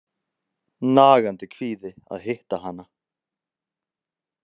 Nagandi kvíði að hitta hana.